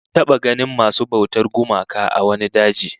Mun taba ganin masu bautar gumaka a wani daji